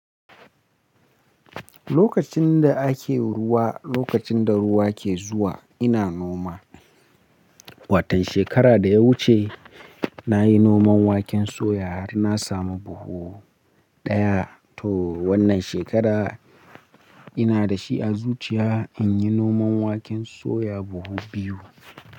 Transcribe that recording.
Lokacin da ake ruwa, lokacin da ruwa ke zuwa ina noma. Watan shekara da ya wuce na yi noman waken soya har na samu buhu ɗaya. To wannan shekara ina da shi a zuciya in yi noman waken soya buhu biyu.